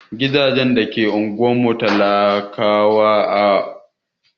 Gidajen da ke unguwar talakawa ba'a rufe su da kyau ba.